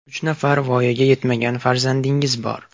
Uch nafar voyaga yetmagan farzandingiz bor.